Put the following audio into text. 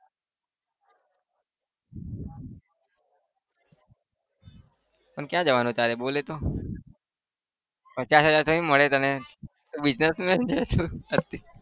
પણ કયા જવાનું તારે બોલ એતો પચાસ હજાર થોડી મળે તને businessman છે તું